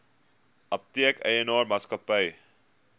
apteek eienaar maatskappy